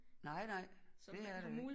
Nej nej det er der ikke